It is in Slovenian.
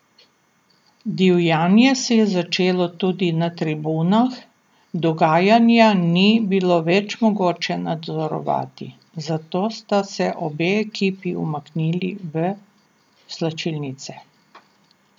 Divjanje se je začelo tudi na tribunah, dogajanja ni bilo več mogoče nadzorovati, zato sta se obe ekipi umaknili v slačilnice.